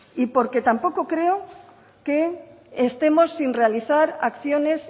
y porque tampoco creo que estemos sin realizar acciones